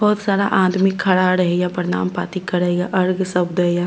बहुत सारा आदमी खड़ा रहे ये प्रणाम पाती करे ये अर्घ सब देए ये।